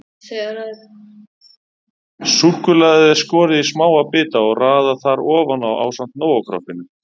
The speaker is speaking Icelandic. Súkkulaðið er skorið í smáa bita og raðað þar ofan á ásamt Nóa-kroppinu.